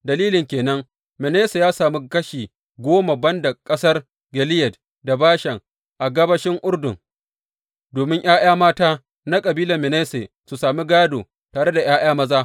Dalilin ke nan Manasse ya sami kashi goma ban da ƙasar Gileyad da Bashan a gabashin Urdun, domin ’ya’ya mata na kabilar Manasse sun sami gādo tare da ’ya’ya maza.